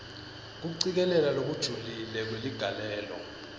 kucikelela lokujulile kweligalelo